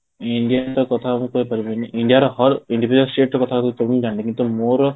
indian ଙ୍କ କଥା ମୁଁ କହିପାରିବିନି india ର individual state କଥା ମୁଁ ଜାଣିନି କିନ୍ତୁ ମୋର